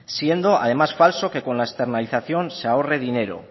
siendo además falso que con la externalización se ahorre dinero